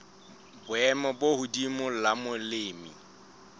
boemo bo hodimo la molemi